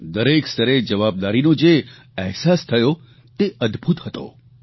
દરેક સ્તરે જવાબદારીનો જે અહેસાસ થયો તે અદભૂત હતો